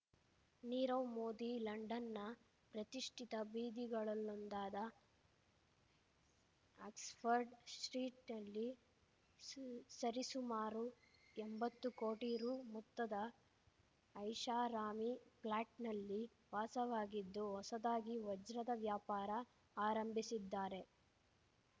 ನೀರವ್ ಮೋದಿ ಲಂಡನ್‌ನ ಪ್ರತಿಷ್ಠಿತ ಬೀದಿಗಳಲ್ಲೊಂದಾದ ಆಕ್ಸ್‌ಫರ್ಡ್ ಸ್ಟ್ರೀಟ್‌ನಲ್ಲಿಸ ಸರಿಸುಮಾರು ಎಂಬತ್ತು ಕೋಟಿ ರೂ ಮೊತ್ತದ ಐಷಾರಾಮಿ ಫ್ಲಾಟ್‌ನಲ್ಲಿ ವಾಸವಾಗಿದ್ದು ಹೊಸದಾಗಿ ವಜ್ರದ ವ್ಯಾಪಾರ ಆರಂಭಿಸಿದ್ದಾರೆ